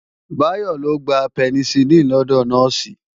Báyọ́ lọ gba Penicilin lọ́dọ̀ Nọ́ọ̀sì